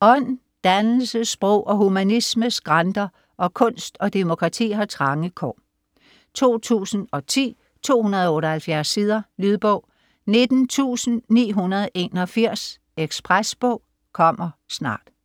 Ånd, dannelse, sprog og humanisme skranter, og kunst og demokrati har trange kår. 2010, 278 sider. Lydbog 19981 Ekspresbog - kommer snart